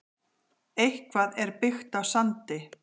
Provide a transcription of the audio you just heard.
Eitthvað er byggt á sandi